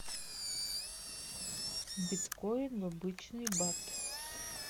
биткоин в обычный бат